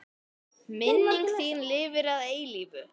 Minning þín lifir að eilífu.